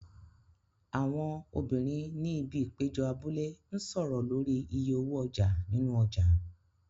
Àwọn obìnrin ni ibi ìpéjọ abúlé ń sọ̀rọ̀ lórí iye owó ọjà nínú ọjà.